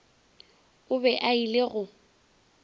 o be a ile go